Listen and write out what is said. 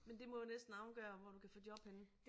Men det må jo næsten afgøre hvor du kan få job henne